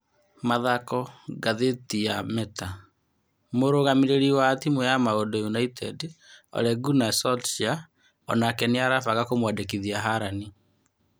(Mathako, Ngathĩti ya Meta) Mũrũgamĩrĩri wa timu ya Maũndũ United Ole Ngana Njosika onake nĩ arabanga kũmwandĩkithia Harani.